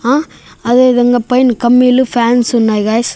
ఆ అదేవిధంగా పైన కమ్మిలు ఫ్యాన్స్ ఉన్నాయి గాయ్స్ .